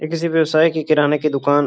ये किसी व्यवसायी की किराने की दुकान --